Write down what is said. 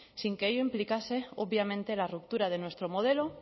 sin que ello implicarse obviamente la ruptura de nuestro modelo